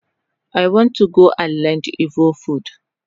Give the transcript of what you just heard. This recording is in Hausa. I want to go and learn igbo food